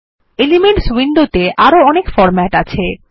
elements উইন্ডোত়ে আরো অনেক ফরম্যাট আছে